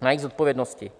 na jejich zodpovědnosti.